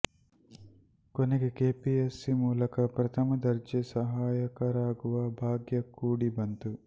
ಕೊನೆಗೆ ಕೆಪಿಎಸ್ಸಿ ಮೂಲಕ ಪ್ರಥಮ ದರ್ಜೆ ಸಹಾಯಕರಾಗುವ ಭಾಗ್ಯ ಕೂಡಿ ಬಂತು